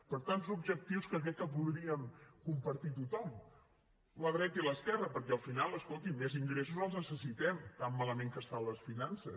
per tant objectius que crec que podríem compartir tothom la dreta i l’esquerra perquè al final escoltin més ingressos els necessitem tant malament que estan les finances